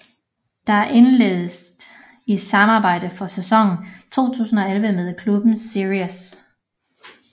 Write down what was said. Der indledtes i samarbejde for sæsongen 2011 med klubben Sirius